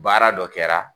Baara dɔ kɛra